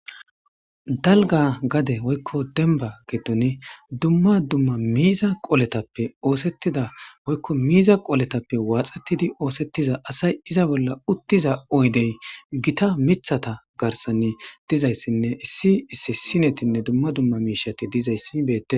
dalga gade woykko denba getoni dumma dumma miiza qooletappe oosettida woykko miiza qooletappe waaxettidi oosettiza asay iza bolla uttiza oydey gita mithata garsanni dizayssinne issi issi sinetinne dumma dumma miishati dizayssi beete